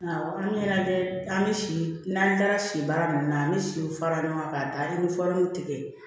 Awɔ an ɲɛna an bɛ si n'an taara si baara ninnu na an bɛ siw fara ɲɔgɔn kan ka da i ni faraliw tɛ kɛ